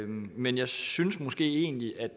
men jeg synes måske egentlig at